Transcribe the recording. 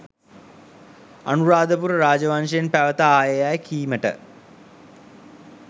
අනුරාධපුර රාජ වංශයෙන් පැවත ආයේ යැයි කීමට